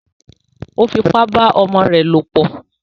Ó fipá bá ọmọ rẹ̀ lòpọ̀